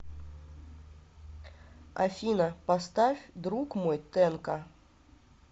афина поставь друг мой тэнка